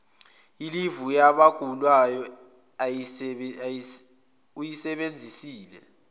ilivu yabagulayo uyisebenzisele